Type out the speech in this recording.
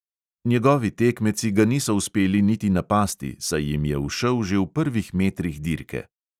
Njegovi tekmeci ga niso uspeli niti napasti, saj jim je ušel že v prvih metrih dirke.